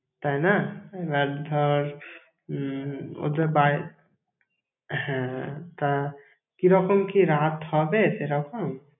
তাই না! এবার ধর, উম ওদের বাড়ি হ্যাঁ, তা কিরকম কি রাত হবে, সেরকম?